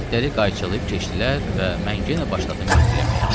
Biletləri qayçılayıb keçdilər və mən yenə başladım mürgüləməyə.